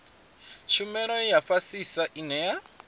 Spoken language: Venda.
tshumelo ya fhasisa ine ya